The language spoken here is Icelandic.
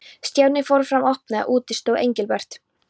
Stjáni fór fram og opnaði og úti stóð Engilbert.